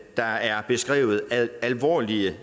der er beskrevet alvorlige